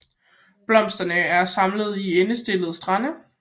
Blomsterne er samlet i endestillede stande